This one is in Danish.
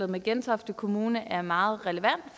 med gentofte kommune er meget relevant